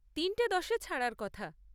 তিনটে দশে ছাড়ার কথা।